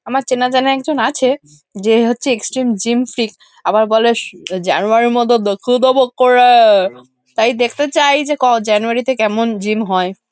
আমার চেনা জানা একজন আছে যে হচ্ছে এক্সট্রিম জিম ফ্রিক আবার বলে জানুয়ারি -এর মধ্যে দেখিয়ে দেবো করে-এ। তাই দেখতে চাই যে ক জানুয়ারি -তে কেমন জিম হয় ।